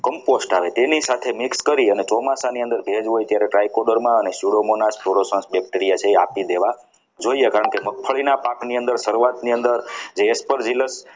compost આવે જેની સાથે mix કરી અને ચોમાસાની અંદર ભેજ હોય ત્યારે try coder માં અને bacteria છે એ આપી દેવા જોઈએ કારણ કે મગફળીના પાકની અંદર શરૂઆતની અંદર